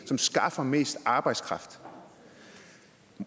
som skaffer mest arbejdskraft